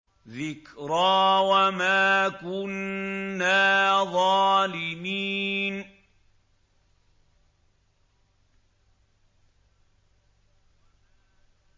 ذِكْرَىٰ وَمَا كُنَّا ظَالِمِينَ